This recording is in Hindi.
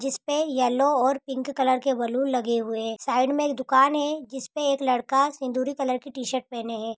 जिसपे येलो और पिंक कलर के बलून लगे हुए हैं साइड मैं एक दूकान हैं जिसपे एक लड़का सिंदूरी कलर की टीशर्ट पहने हैं।